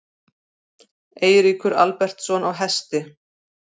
Eiríkur Albertsson á Hesti.